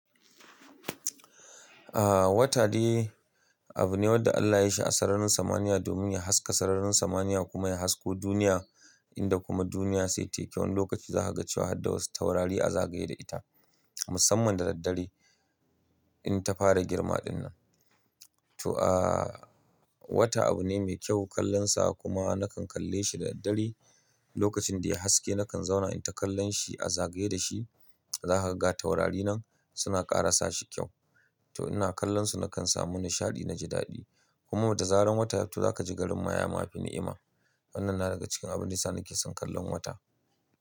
Ah, wata dai abu ne wanda Allah ya yi shi a sararin samaniya domin ya haska sararin samaniya kuma ya hasko duniya, inda kuma duniya sai ta yi kyau. Wani lokaci za ka ga cewa har da wasu taurari a zagaye da ita musamman da daddare in ta fara girma dinnan. To ah, wata abu ne mai kyau kallonsa kuma nakan kalle shi da daddare. Lokacin da ya haske nakan zauna in ta kallon shi a zagaye da shi. Za ka ga taurari nan suna ƙara sa shi kyau. To ina kallonsa nakan samu nishaɗi na ji daɗi. Kuma da zaran wata yafi to za ka ji garin mayama fi ni'ima. Wannan na daga cikin abin yasa nake son kallon wata.